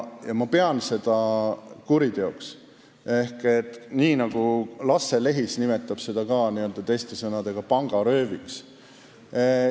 Ma pean seda kuriteoks või nagu Lasse Lehis seda on nimetanud: pangarööviks.